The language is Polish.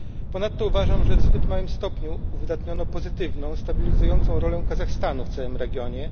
Ponadto uważam, że w zbyt małym stopniu uwydatniono pozytywną, stabilizującą rolę Kazachstanu w całym regionie.